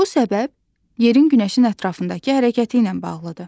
Bu səbəb yerin günəşin ətrafındakı hərəkəti ilə bağlıdır.